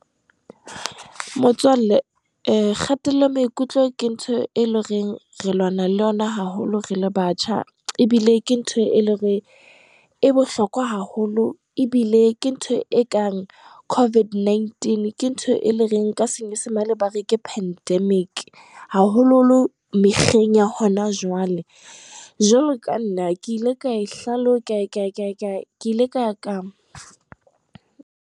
Motswalle kgatello ya maikutlo ke ntho e le reng re lwana le yona haholo rele batjha, ebile ke ntho e leng hore e bohlokwa haholo, ebile ke ntho e kang COVID-19, Ke ntho e le reng ka senyesemane, ba re ke Pandemic, haholoholo mekgeng ya hona jwale. Jwalo ka nna ke ile ka hlalo , ke ile ka .